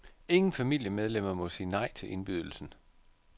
Ingen familiemedlemmer må sige nej til indbydelsen.